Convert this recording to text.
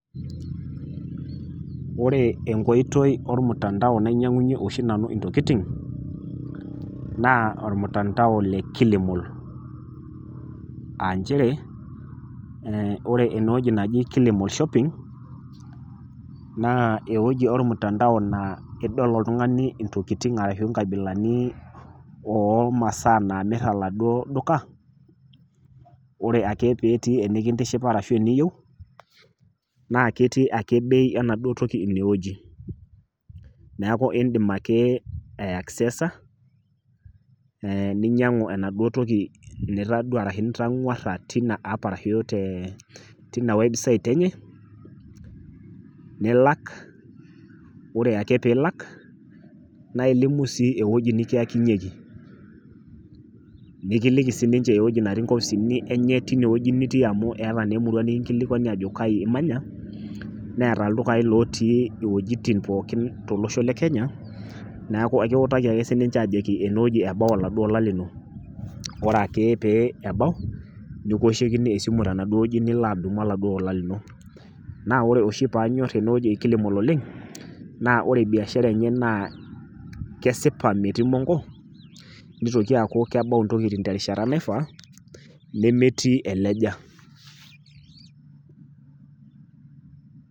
Ore enkoitoi olmutandao nainyang'unye oshi nanu intokitin, naa olmatundao le Kilimal, aa nchere ore ine wueji naji Kilimall shopping naa ewueji olmutandao naa idol oltung'ani intokitin ashu inkabilani o imaasaa naamir oladuo duka, ore ake pee etii enekintoshopa ashu tenetii eniyou naa ketii ake bei enaduo toki ake ine wueji, neaku indim ake aiaksesa ninyangu enaduo toki nitonyora ashu nitangwara tina app ashu teina website enye, nilak, ore ake pee ilak, naa ilimu sii ake ewueji nikiyakinyeki, nikiliki sii ninche ewueji natii inkopisini enye teine wueji nitii amu etii naa ewueji nikingolilwanj ajo kaji imanya, neata ildukain lootii inwuetin pooki tolosho le Kenya, neaku ekiutaki ake sii ninche ajoki ene wueji ebau oladuo ola lino. Ore ake pee ebau, nikioshokini esimu tenaduo wueji nilo alo adumu oladuo ola lino. Naa ore oshi paanyor ene wueji e Kilimall oleng' naa ore biashara enye naa kesipa metii mongo, neitoki aaku kebau intokitin terishata naifaa nemetii eleja.